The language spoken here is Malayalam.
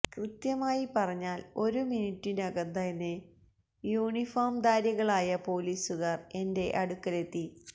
കൃത്യമായി പറഞ്ഞാല് ഒരു മിനുറ്റിനകം തന്നെ യൂണിഫോം ധാരികളായ പോലീസുകാര് എന്റെ അടുക്കലെത്തി